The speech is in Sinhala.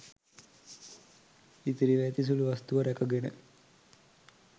ඉතිරිව ඇති සුළු වස්තුව රැකගෙන